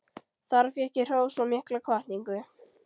Þar fékk ég hrós og mikla hvatningu.